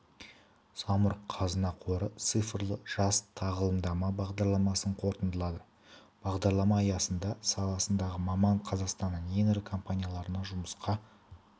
самұрық-қазына қоры цифрлы жаз тағылымдама бағдарламасын қорытындылады бағдарлама аясында саласындағы маман қазақстанның ең ірі компанияларына жұмысқа